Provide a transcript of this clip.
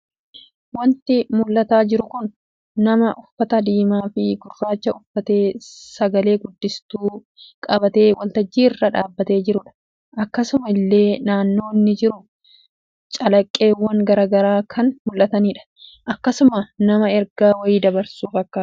Waanti mulataa jiru kun nama uffata diimaa fi gurraacha uffatee sagalee guddistu qabatee waltajjii irra dhaabbate jirudha. akkasuma illee naannoo inni jiru calaqqeewwan garaa garaa kan mulatanidha. akkasuma nama erga wayii dabarsu fakkaata